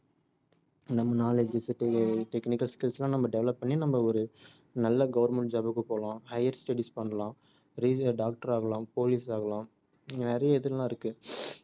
நம்ம knowledge tech~ technical skills லாம் நம்ம develop பண்ணி நம்ம ஒரு நல்ல government job க்கு போலாம் higher studies பண்ணலாம் பெரிய doctor ஆகலாம் police ஆகலாம் நிறைய இதெல்லாம் இருக்கு